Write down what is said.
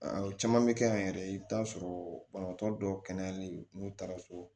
O caman bɛ kɛ yan yɛrɛ i bɛ taa sɔrɔ banabaatɔ dɔw kɛnɛyali n'u taara so